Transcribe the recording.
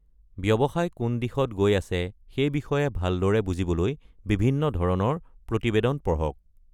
ব্যৱসায় কোন দিশত গৈ আছে সেই বিষয়ে ভালদৰে বুজিবলৈ বিভিন্ন ধৰণৰ প্ৰতিবেদন পঢ়ক।